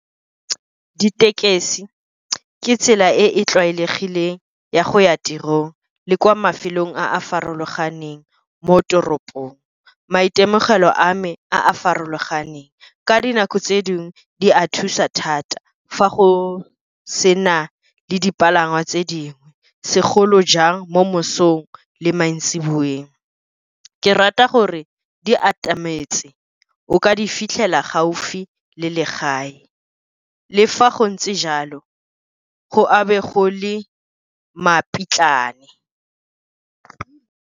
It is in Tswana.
Ditekesi ke tsela e e tlwaelegileng ya go ya tirong le kwa mafelong a a farologaneng mo toropong. Maitemogelo a me a a farologaneng, ka dinako tse dingwe di a thusa thata fa go sena le dipalangwa tse dingwe, segolo jang mo mosong le maintsiboweng. Ke rata gore di atametse o ka fitlhela gaufi le legae, le fa go ntse jalo go a bo gole .